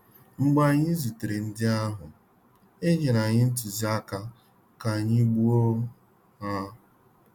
Mgbe anyi zutere ndị ahụ, enyere anyi ntuziaka ka anyị gbuo ha.